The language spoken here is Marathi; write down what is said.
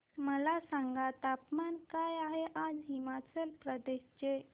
मला सांगा तापमान काय आहे आज हिमाचल प्रदेश चे